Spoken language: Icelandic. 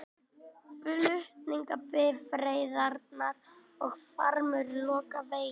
Flutningabifreiðarnar og farmur loka veginum